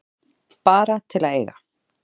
Bara til að eiga.